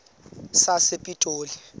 sasepitoli